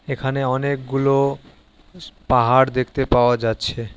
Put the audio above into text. এখানে অনেকগুলো স পাহাড় দেখতে পাওয়া যাচ্ছে।